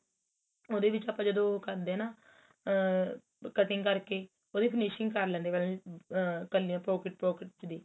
ਉਹਦੇ ਵਿੱਚ ਆਪਾਂ ਜਦੋ ਕਰਦੇ ਆ ਨਾ ਆ cutting ਕਰਕੇ ਉਹਦੀ finishing ਕਰ ਲੈਣੇ ਆ ਪਹਿਲਾਂ ਆ ਇੱਕਲਿਆਂ pockets pockets ਦੀ